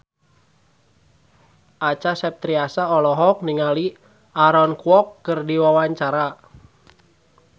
Acha Septriasa olohok ningali Aaron Kwok keur diwawancara